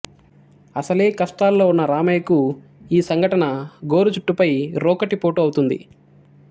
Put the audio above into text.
అసలే కష్టాలలో ఉన్న రామయ్యకు ఈ సంఘటన గోరుచుట్టుపై రోకటిపోటు అవుతుంది